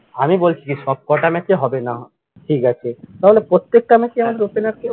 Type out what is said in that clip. আমি বলছি যে সবকটা নাকি হবে না ঠিক আছে তাহলে প্রত্যেকটা match এ আসাদের opener কে?